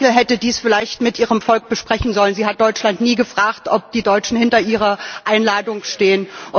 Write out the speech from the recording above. Aber Frau Merkel hätte dies vielleicht mit ihrem Volk besprechen sollen Sie hat Deutschland nie gefragt, ob die Deutschen hinter ihrer Einladung stehen.